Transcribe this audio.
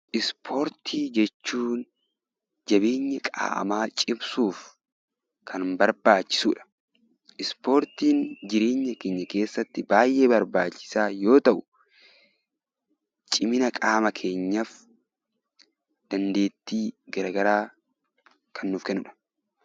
Ispoortii jechuun jabeenya qaamaa cimsuuf kan barbaachisudha. Ispoortiin jireenya keenya keessatti baay'ee barbaachisaa yoo ta'u, cimina qaama keenyaaf, dandeettii gara garaa kan nuuf kennudha.